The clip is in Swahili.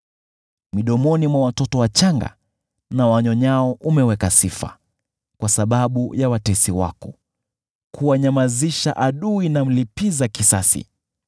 Midomoni mwa watoto wachanga na wanyonyao umeamuru sifa, kwa sababu ya watesi wako, kumnyamazisha adui na mlipiza kisasi.